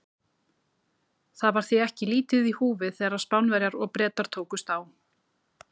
Það var því ekki lítið í húfi þegar Spánverjar og Bretar tókust á.